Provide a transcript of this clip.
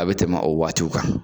A bɛ tɛmɛ o waati kan.